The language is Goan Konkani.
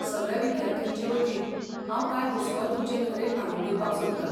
सगळ्या विद्यार्थ्यांचे वतीन, हांव कांय हुस्को तुमचे नदरेक हाडून दिवपाक सोदतां.